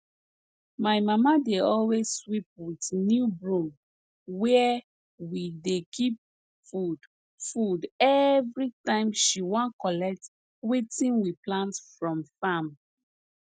my mama dey always sweep with new broom where we dey keep food food every time she wan collect wetin we plant from farm